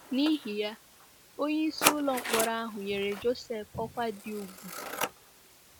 N’ihi ya, onyeisi ụlọ mkpọrọ ahụ nyere Josef ọkwa dị ùgwù.